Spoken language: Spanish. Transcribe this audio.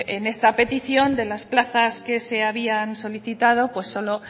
en esta petición de las plazas que se habían solicitado solo